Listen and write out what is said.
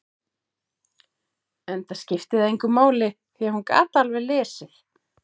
Enda skipti það engu máli, því að hún gat alveg lesið.